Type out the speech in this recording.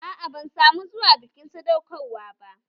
Aa, ban samu zuwa bikin sadaukar wa ba